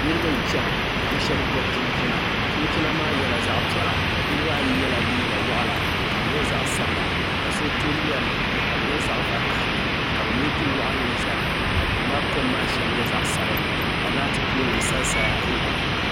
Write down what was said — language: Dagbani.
niribɛ chana ka bɛ shɛbi gobi chinchina maa nyɛla zaɣ'piɛla niribaa ayi yɛla liika waɣ'la ka di nyɛ zaɣisabilaka so to lem kadi nyɛ zaɣ'vakahali ka bɛ mɛ duwaɣinli zalika duu kom maa nyɛ zaɣ' vakahika laati poolinim sansaya n gili